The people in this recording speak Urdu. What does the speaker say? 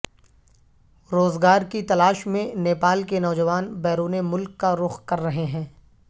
روزگار کی تلاش میں نیپال کے نوجوان بیرون ملک کا رخ کر رہے ہیں